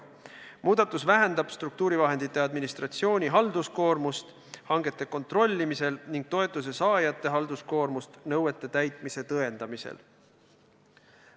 Muudatus vähendab struktuurivahendite administratsiooni halduskoormust hangete kontrollimisel ning toetuse saajate halduskoormust nõuete täitmise tõendamisel.